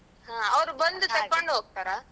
ಬಂದ್ ಹೋಗ್ತಾರ?